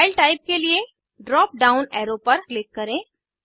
file type के लिए drop down arrow पर क्लिक करें